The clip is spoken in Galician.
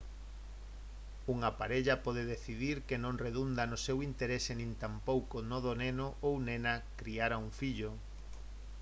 unha parella pode decidir que non redunda no seu interese nin tampouco no do neno ou nena criar a un fillo